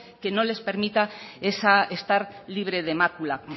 que nos les permita estar libre de mácula